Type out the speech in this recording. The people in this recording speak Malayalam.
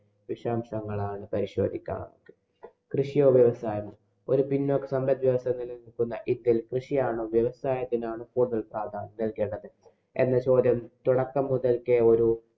വിശദാംശങ്ങളാണ് പരിശോക്കാം നമുക്ക്. കൃഷിയും, വ്യവസായവും. ഒരു പിന്നോക്ക സമ്പദ്വ്യവസ്ഥ നിലനില്‍ക്കുന്ന ഇന്‍ഡ്യയില്‍ കൃഷിയാണോ, വ്യവസായത്തിനാണോ കൂടുതല്‍ പ്രാധാന്യം നല്‍കേണ്ടത്? എന്ന ചോദ്യം തുടക്കം മുതല്‍ക്കേ ഒരു